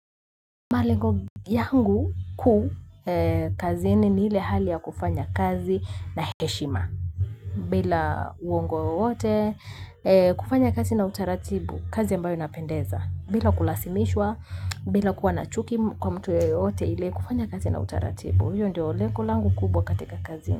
Malengo yangu kuu kazini ni ile hali ya kufanya kazi na heshima. Bila uongo wowote kufanya kazi na utaratibu, kazi ambayo inapendeza. Bila kulazimishwa bila kuwa na chuki kwa mtu yeyote ile kufanya kazi na utaratibu hiyo ndio lengo langu kubwa katika kazi.